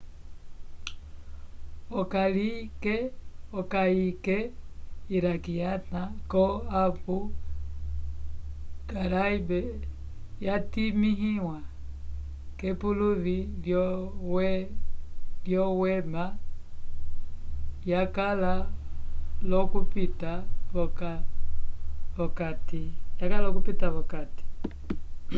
okayike iraquiana yo abu gharaib yatimĩwa k'epuluvi lyowema yakala l'okupita v'okati